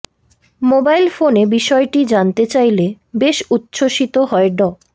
mobile ফোনে বিষয়টি জানতে চাইলে বেশ উচ্ছ্বসিত হয়ে ড